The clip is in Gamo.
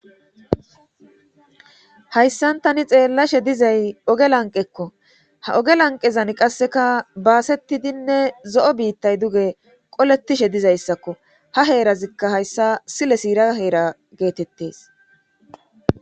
hayssan tani xeellashe dizay oge lanqekko ha oge lanqezan qasseka baasetidinne zo7o biittay duge qolettishe dizayssakko ha heerazikka hayssa sile siira heera geetettees